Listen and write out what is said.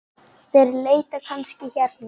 Þeir leita kannski hérna.